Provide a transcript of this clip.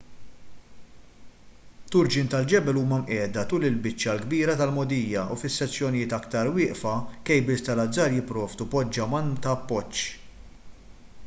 turġien tal-ġebel huma mqiegħda tul il-biċċa l-kbira tal-mogħdija u fis-sezzjonijiet aktar wieqfa kejbils tal-azzar jipprovdu poġġaman ta' appoġġ